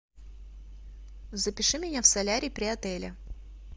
запиши меня в солярий при отеле